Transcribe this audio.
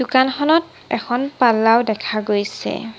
দোকানখনত এখন পাল্লাও দেখা গৈছে।